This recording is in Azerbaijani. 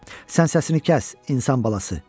Sən səsini kəs, insan balası.